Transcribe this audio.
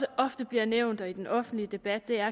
ofte bliver nævnt også i den offentlige debat er